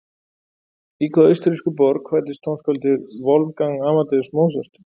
Í hvaða austurrísku borg fæddist tónskáldið Wolfgang Amadeus Mozart?